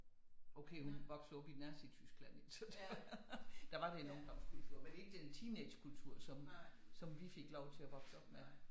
Okay hun voksede jo op i Nazi-Tyskland ikke så det var der var det en ungdomskultur men ikke den teenagekultur som vi fik lov til at vokse op med